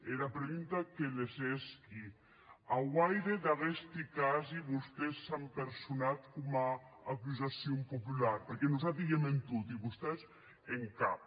era pregunta que les hèsqui a guaire d’aguesti casi vostés s’an personat coma acusacion populara perque nosati i èm en toti e vostés en cap